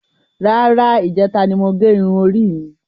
Rárá, ijẹta ni mo gé irun orí mi.